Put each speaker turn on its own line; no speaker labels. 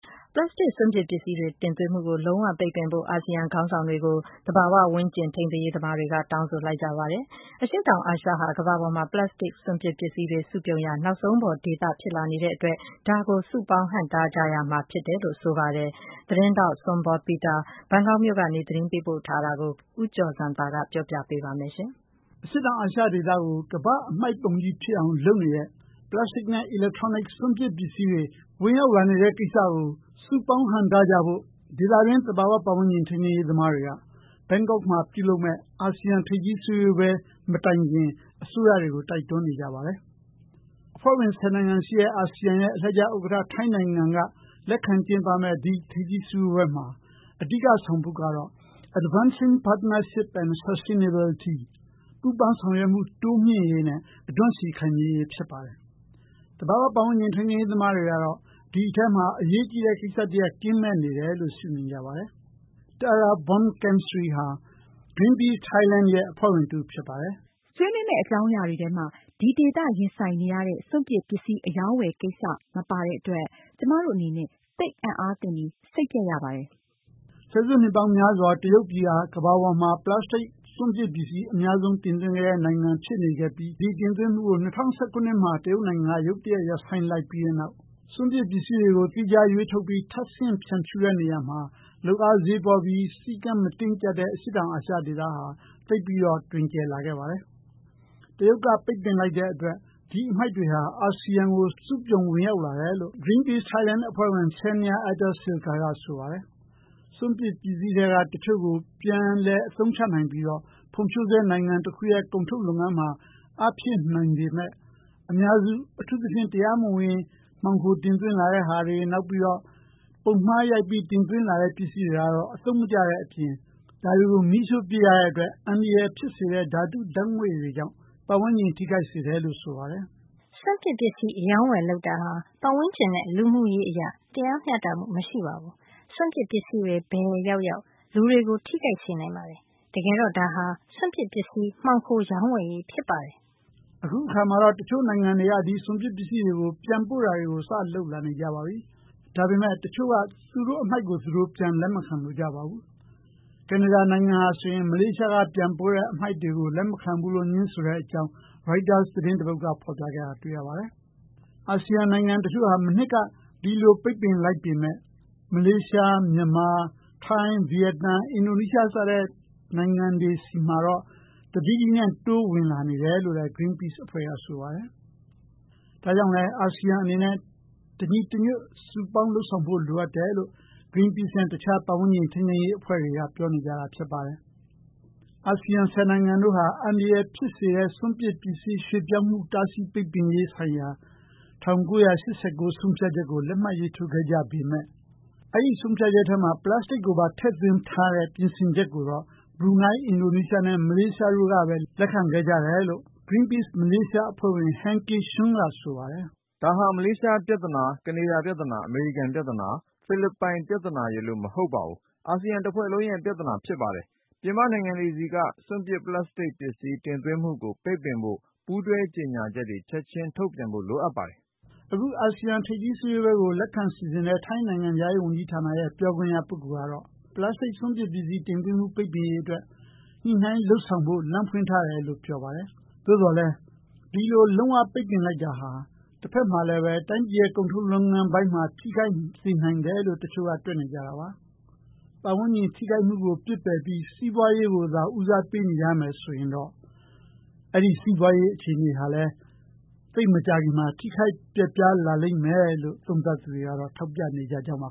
ပလပ်စတစ် စွန့်ပစ်ပစ္စည်းတွေ တင်သွင်းမှုကို လုံးဝပိတ်ပင်ဖို့ အာဆီယံ ခေါင်းဆောင်တွေကို သဘာဝပတ်ဝန်းကျင် ထိန်းသိမ်းရေးသမား တွေက တောင်းဆိုလိုက်ပါတယ်။ အရှေ့တောင်အာရှဟာ ကမ္ဘာပေါ်မှာ ပလပ်စတစ် စွန့်ပစ်ပစ္စည်းတွေ စုပြုံရာ နောက်ဆုံးပေါ်ဒေသ ဖြစ်လာနေတဲ့ အတွက် ဒါကို စုပေါင်းဟန့်တားကြရမှာ ဖြစ်တယ်လို့ ဆိုပါတယ်။ Zsombor Peter ဘန်ကောက်မြို့က ပေးပို့တဲ့ သတင်းလွှာကို ဦးကျော်ဇံသာ ပြောပြပေးမှာပါ။ အရှေ့တောင် အာရှဒေသကို ကမ္ဘာ့အမှိုက်ပုံကြီး ဖြစ်အောင် လုပ်နေတဲ့ ပလတ်စတစ်နဲ့ အီလက်ထရောနစ် စွန့်ပစ်ပစ္စည်းတွေ ဝင်ရောက်လာနေတဲ့ ကိစ္စကို စုပေါင်း ဟန့်တားကြဖို့ ဒေသတွင်း သဘာ၀ ပတ်ဝန်းကျင် ထိန်းသိမ်းရေး သမားတွေက ဘန်ကောက်မှာ ပြုလုပ်မယ့် အာဆီယံ ထိပ်သီးစည်းဝေးပွဲ မတိုင်ခင် အစိုးရတွေကို တိုက်တွန်းနေကြပါတယ်။ အဖွဲ့ဝင် ၁၀ နိုင်ငံရှိတဲ့ အာဆီယံရဲ့ အလှည့်ကျ ဥက္ကဌ ထိုင်းနိုင်ငံက လက်ခံကျင်းပမယ့် ဒီထိပ်သီး စည်းဝေးပွဲမှာ အဓိက ဆောင်ပုဒ်ကတော့ Advancing Partnership for Sustainability ပူးပေါင်းဆောင်ရွက်မှု တိုးမြှင့်ရေးနဲ့ အဓွန့်ရှည် ခိုင်မြဲရေး ဖြစ်ပါတယ်။ သဘာ၀ ပတ်ဝန်းကျင် ထိန်းသိမ်းရေး သမားတွေကတော့ ဒီထဲမှာ အရေးကြီးတဲ့ ကိစ္စတရပ် ကင်းမဲ့နေတယ်လို့ ရှုမြင်နေကြပါတယ်။ Tara Buakamsri ဟာ Greenpeace Thailand ရဲ့ အဖွဲ့ဝင် တဦး ဖြစ်ပါတယ်။ “ ဆွေးနွေးမယ့် အကြောင်းအရာတွေထဲမှာ ဒီဒေသ ရင်ဆိုင်နေရတဲ့ စွန့်ပစ်ပစ္စည်း အရောင်းအဝယ် ကိစ္စ မပါတဲ့ အတွက် ကျမတို့အနေနဲ့ သိပ်အံ့အားသင့်ပြီး စိတ်ပျက်ရပါတယ်။” ဆယ်စုနှစ်ပေါင်းများစွာ တရုတ်ပြည်ဟာ ကမ္ဘာပေါ်မှာ ပလတ်စတစ် စွန့်ပစ်ပစ္စည်း အများဆုံး တင်သွင်းခဲ့တဲ့ နိုင်ငံ ဖြစ်နေခဲ့ပြီး ဒီတင်သွင်းမှုကို ၂၀၁၇ ခုနှစ်မှာ တရုတ်ပြည်က ရုတ်တရက် ရပ်ဆိုင်းလိုက်ပြီးတဲ့နောက် စွန့်ပစ် ပစ္စည်းတွေကို သီးခြားရွေးထုတ်ပြီး ထပ်ဆင့် ဖြန့်ဖြူးတဲ့ နေရာမှာ လုပ်အားဈေးပေါပြီး စည်းကမ်း မတင်းကြပ်တဲ့ အရှေ့တောင် အာရှ ဒေသဟာ သိပ်ပြီးတော့ တွင်ကျယ်လာခဲ့ပါတယ်။ တရုတ်က ပိတ်ပင်လိုက်တဲ့ အတွက် ဒီအမှိုက်တွေဟာ အာဆီယံကို စုပြုံဝင်ရောက်လာတယ်လို့ Greenpeace Thailand အဖွဲ့ဝင် Shanya Attasillekha က ဆိုပါတယ်။ စွန့်ပစ်ပစ္စည်းထဲက တချို့ကို ပြန်လည် အသုံးချနိုင်ပြီးတော့ ဖွံ့ဖြိုးဆဲ နိုင်ငံတခုရဲ့ ကုန်ထုတ်လုပ်ငန်းမှာ အားဖြည့်နိုင်ပေမယ့် အများစု အထူးသဖြင့် တရားမဝင် မှောင်ခို တင်သွင်းလာတဲ့ဟာတွေ နောက်ပြီးတော့ ပုံမှားရိုက်ပြီး တင်သွင်းလာတဲ့ ပစ္စည်းတွေကတော့ အသုံးမကျတဲ့ အပြင် ဒါတွေကို မီးရှိုှု့ ပစ်ရတဲ့ အတွက် အန္တရာယ် ဖြစ်စေတဲ့ ဓာတု ဓာတ်ငွေ့တွေကြောင့် ပတ်ဝန်းကျင် ထိခိုက်စေတယ်လို့ ဆိုပါတယ်။ “ စွန့်ပစ်ပစ္စည်း အရောင်းအဝယ် လုပ်တာဟာ ပတ်ဝန်းကျင်နဲ့ လူမှုရေးအရ တရားမျှတမှု မရှိပါဘူး၊ စွန့်ပစ်ပစ္စည်းတွေ ဘယ်ရောက်ရောက် လူတွေကို ထိခိုက်စေနိုင်ပါတယ်။ တကယ်တော့ဒါဟာ စွန့်ပစ်ပစ္စည်း မှောင်ခိုရောင်းဝယ်ရေး ဖြစ်ပါတယ်။” အခု အခါမှာတော့ တချို့နိုင်ငံတွေက ဒီစွန့်ပစ် ပစ္စည်းတွေကို ပြန်ပို့တာတွေ စ လုပ်လာနေကြပါပြီ။ ဒါပေမယ့် တချို့က သူတို့ အမှိုက်ကို သူတို့ ပြန်လက်မခံ လိုကြပါဘူး။ ကနေဒါ နိုင်ငံဟာဆိုရင် မလေးရှားက ပြန်ပို့တဲ့ အမှိုက်တွေကို လက်မခံဘူးလို့ ငြင်းဆိုတဲ့ အကြောင်း ရိုက်တာ သတင်းတပုဒ်က ဖော်ပြခဲ့တာ တွေ့ရပါတယ်။ အာဆီယံ နိုင်ငံတချို့ဟာ မနှစ်က ဒီလို ပိတ်ပင်လိုက်ပေမယ့် မလေးရှား၊ မြန်မာ၊ ထိုင်း၊ ဗီယက်နမ်၊ အင်ဒိုနီးရှား စတဲ့ နိုင်ငံတွေ ဆီမှာတော့ တတိတိနဲ့ တိုးဝင်လာနေတယ်လို့လည်း Greenpeace အဖွဲ့က ဆိုပါတယ်။ ဒါကြောင့်လည်း အာဆီယံ အနေနဲ့ တညီတညွတ်စုပေါင်း လုပ်ဆောင်ဖို့ လိုအပ်တယ်လို့ Greenpeace နဲ့ တခြား ပတ်ဝန်းကျင် ထိန်းသိမ်းရေး အဖွဲ့တွေက ပြောနေကြတာ ဖြစ်ပါတယ်။ အာဆီယံ ၁၀ နိုင်ငံတို့ဟာ အန္တရာယ် ဖြစ်စေတဲ့ စွန့်ပစ် ပစ္စည်း ရွှေ့ပြောင်းမှု တားဆီးပိတ်ပင်ရေးဆိုင်ရာ ၁၉၈၉ ဆုံးဖြတ်ချက်ကို လက်မှတ်ရေးထိုးခဲ့ကြပေမယ့် အဲဒီ ဆုံးဖြတ်ချက်ထဲမှာ ပလတ်စတစ်ကိုပါ ထည့်သွင်းထားတဲ့ ပြင်ဆင်ချက်ကိုတော့ ဘရူနိုင်း၊ အင်ဒိုနီးရှားနဲ့ မလေးရှားတို့ကဘဲ လက်ခံခဲ့ကြတယ်လို့ Greenpeace မလေးရှား အဖွဲ့ဝင် Heng Kiah Chun က ဆိုပါတယ်။ “ ဒါဟာ မလေးရှားပြဿနာ၊ ကနေဒါပြဿနာ၊ အမေရိကန်ပြဿနာ၊ ဖိလစ်ပိုင်ပြဿနာ ရယ်လို့မဟုတ်ပါဘူး၊ အာဆီယံတဖွဲ့လုံးရဲ့ ပြဿနာဖြစ်ပါတယ်။ ပြင်ပနိုင်ငံတွေဆီက စွန့်ပစ် ပလပ်စတစ်ပစ္စည်း တင်သွင်းမှုကို ပိတ်ပင်ဖို့ ပူးတွဲကြေညာချက်တွေ ချက်ချင်း ထုတ်ပြန်ဖို့ လိုအပ်ပါတယ်။” အခု အာဆီယံ ထိပ်သီး စည်းဝေးပွဲကို လက်ခံစီစဉ်တဲ့ ထိုင်းနိုင်ငံခြားရေး ဝန်ကြီးဌာနရဲ့ ပြောခွင့်ရ ပုဂ္ဂိုလ်ကတော့ ပလတ်စတစ် စွန့်ပစ်ပစ္စည်း တင်သွင်းမှု ပိတ်ပင်ရေး အတွက် ညှိနှိုင်း လုပ်ဆောင် ဖို့ လမ်းဖွင့်ထားတယ်လို့ ပြောပါတယ်။ သို့သော်လည်း ဒီလို လုံး၀ ပိတ်ပင်လိုက်တာဟာ တဖက်မှာလည်းဘဲ တိုင်းပြည်ရဲ့ ကုန်ထုတ်လုပ်ငန်းပိုင်းမှာ ထိခိုက်စေနိုင်တယ်လို့ တချို့က တွက်နေကြတာပါ။ ပတ်ဝန်းကျင် ထိခိုက်မှုကို ပစ်ပယ်ပြီး စီးပွားရေးကိုသာ ဦးစားပေးနေကြမယ်ဆိုရင်တော့ အဲဒီ စီးပွားရေး အခြေအနေကလည်း သိပ်မကြာခင်မှာ ထိခိုက်ပျက်ပြား လာလိမ့်မယ်လို့ သုံးသပ်သူတွေကတော့ ထောက်ပြနေကြကြောင်